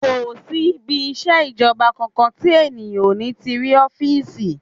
Kò sí ibi iṣẹ́ ìjọba kankan tí èèyàn ò ní ti rí ọ́fìsì